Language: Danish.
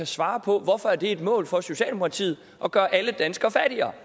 svare på hvorfor er det et mål for socialdemokratiet at gøre alle danskere fattigere